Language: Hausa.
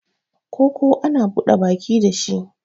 Koko ana buda baki da shi